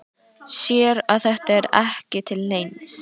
Sér að þetta er ekki til neins.